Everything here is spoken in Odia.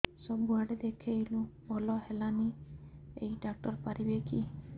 ସବୁଆଡେ ଦେଖେଇଲୁ ଭଲ ହେଲାନି ଏଇ ଡ଼ାକ୍ତର ପାରିବେ କି